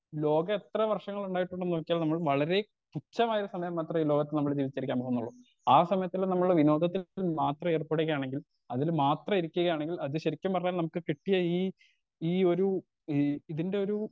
ലോക എത്ര വർഷങ്ങൾ ഉണ്ടാകും ന്ന് നോക്കിയാൽ നമ്മൾ വളരെ തുച്ഛമായ സമയം മാത്രേ ലോകത്ത് നമ്മൾ ജീവിചിരിക്കാൻ പോവുന്നൊള്ളു ആ സമയത്തിൽ നമ്മൾ വിനോദത്തിൽ ന്ന് മാത്ര ഏർപെടുകയാണെങ്കിൽ അതിൽ മാത്രം ഇരിക്കുകയാണെങ്കിൽ അത് ശരിക്കും പറഞ്ഞാൽ നമ്മുക്ക് കിട്ടിയ ഈ ഈ ഒരു ഈ ഇതിന്റൊരു